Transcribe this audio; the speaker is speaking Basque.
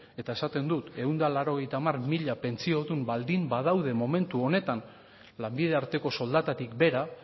eta esaten dut ehun eta laurogeita hamar mila pentsiodun baldin badaude momentu honetan lanbide arteko soldatatik behera